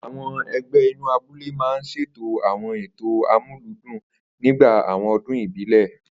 Àwo̩n e̩gbé̩ inú abúlé máa ń s̩ètò àwo̩n ètò amúlùúdún nígbà àwo̩n o̩dún ìbílè̩